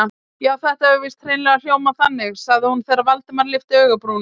Já, þetta hefur víst hreinlega hljómað þannig- sagði hún þegar Valdimar lyfti augabrúnunum.